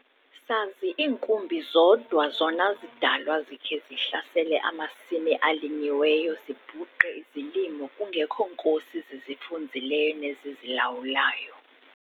Sazi iinkumbi zodwa zona zidalwa zikhe zihlasele amasimi alinyiweyo zibhuqe izilimo kungekho nkosi zizifunzileyo nezizilawulayo.